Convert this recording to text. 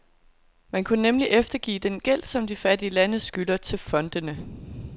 Man kunne nemlig eftergive den gæld, som de fattige lande skylder til fondene.